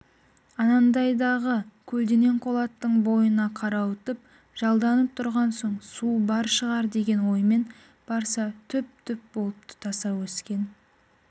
анандайдағы көлденең қолаттың бойына қарауытып жалданып тұрған соң су бар шығар деген оймен барса түп-түп болып тұтаса өскен